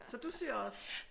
Så du syr også?